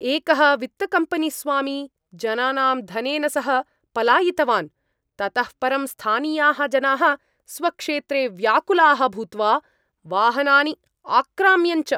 एकः वित्तकम्पेनीस्वामी जनानां धनेन सह पलायितवान्, ततः परं स्थानीयाः जनाः स्वक्षेत्रे व्याकुलाः भूत्वा वाहनानि आक्राम्यन् च।